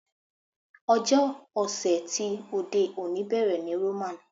Ọjọ́ ọ̀sẹ̀ ti òde òní bẹ̀rẹ̀ ní Roman.